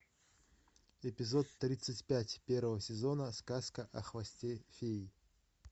эпизод тридцать пять первого сезона сказка о хвосте феи